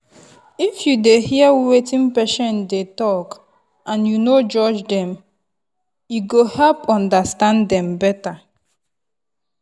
if you dey hear wetin patient dey talk and you no judge them ego help understand them better.